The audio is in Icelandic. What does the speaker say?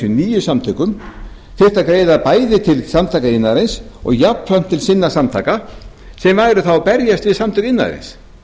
nýju samtökum þyrftu að greiða bæði til samtaka iðnaðarins og jafnframt til sinna samtaka sem væru þá að berjast við samtök iðnaðarins